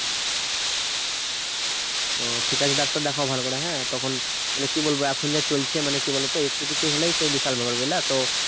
ও ঠিকাছে ডাক্তার দেখাও ভালো করে হ্যাঁ? তখন মানে কি বলবো এখন যা চলছে মানে কি বলতো একটু কিছু হলেই সেই বিশাল ব্যাপার বুঝলা তো